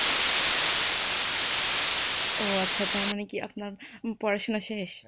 ও আচ্ছা তার মনে কি আপনার পড়াশুনা শেষ?